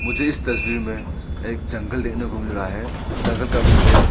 मुझे इस तस्वीर में एक जंगल देखने को मिल रहा है जंगल का विशेष--